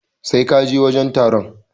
Sai ka je wajen taron.